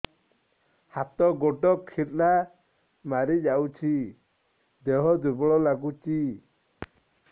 ହାତ ଗୋଡ ଖିଲା ମାରିଯାଉଛି ଦେହ ଦୁର୍ବଳ ଲାଗୁଚି